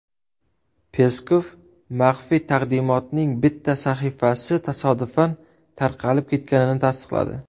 Peskov maxfiy taqdimotning bitta sahifasi tasodifan tarqalib ketganini tasdiqladi.